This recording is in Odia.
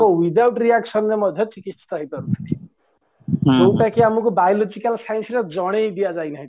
without reactionରେ ମଧ୍ୟ୍ୟ ଚିକିସିତ ହେଇପାରୁଛି ଯୋଉଁଟାକି ଆମକୁ biological scienceରେ ଜନେଇଦିଅ ଯାଇ ନାହିଁ